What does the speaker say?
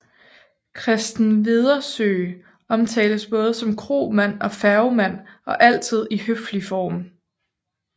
Christen Wedersøe omtales både som kromand og færgemand og altid i høflig form